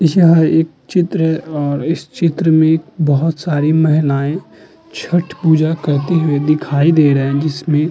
यह एक चित्र और इस चित्र में बहोत सारी महिलाये छठ पूजा करती हुई दिखाई दे रही हैं जिसमे --